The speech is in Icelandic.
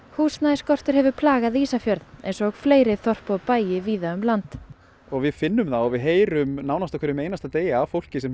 húsnæðisskortur hefur plagað Ísafjörð eins og fleiri þorp og bæi víða um land og við finnum það og heyrum þá á hverjum einasta dagi af fólki sem